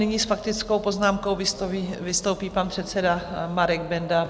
Nyní s faktickou poznámkou vystoupí pan předseda Marek Benda.